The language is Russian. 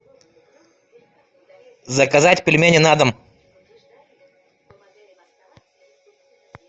заказать пельмени на дом